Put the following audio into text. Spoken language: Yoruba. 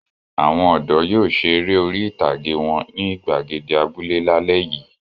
Àwọn ọ̀dọ́ yóò ṣe eré orí-ìtàgé wọn ní ìgbàgede abúlé lálẹ́ yìí.